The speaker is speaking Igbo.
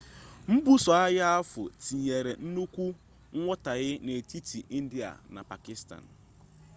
mbuso agha ahụ tinyere nnukwu nghọtahie n'etiti india na pakịstan